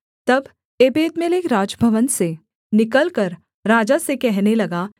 तब एबेदमेलेक राजभवन से निकलकर राजा से कहने लगा